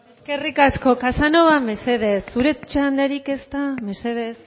eskerrik asko casanova mesedez zure txandarik ez da mesedez